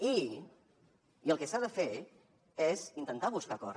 i el que s’ha de fer és intentar buscar acords